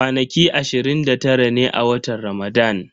Kwanaki ashirin da tara ne a watan Ramadan.